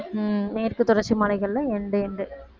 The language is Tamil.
உம் மேற்கு தொடர்ச்சி மலைகள்ல end, end